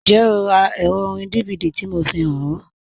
Njẹ́, ọ rá èrò òrìn DVD tí mò fíhàn ọ?